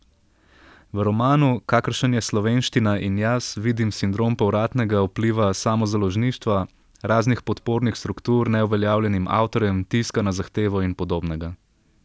V romanu, kakršen je Slovenština in jaz, vidim sindrom povratnega vpliva samozaložništva, raznih podpornih struktur neuveljavljenim avtorjem, tiska na zahtevo in podobnega.